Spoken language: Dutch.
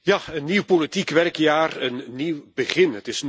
Ja, een nieuw politiek werkjaar, een nieuw begin.